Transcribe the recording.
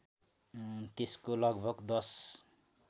त्यसको लगभग १०